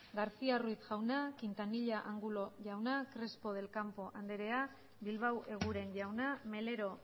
garcía ruiz jauna quintanilla angulo jauna crespo del campo andrea bilbao eguren jauna melero